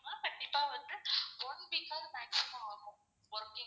கண்டிப்பா வந்து one week ஆவது maximum ஆகும். working ன்னா